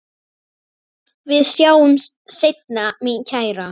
Við sjáumst seinna mín kæra.